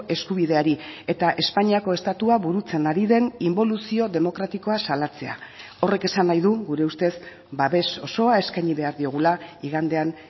eskubideari eta espainiako estatua burutzen ari den inboluzio demokratikoa salatzea horrek esan nahi du gure ustez babes osoa eskaini behar diogula igandean